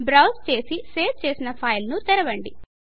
బ్రౌస్ చేసి సేవ్ చేసిన ఫైల్ ను తెరవండి